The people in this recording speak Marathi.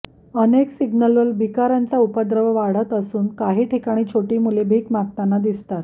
अनेक सिग्नलवर भिकाऱ्यांचा उपद्रव वाढत असून काही ठिकाणी छोटी मुले भीक मागताना दिसतात